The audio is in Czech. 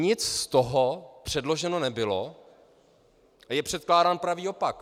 Nic z toho předloženo nebylo a je předkládán pravý opak.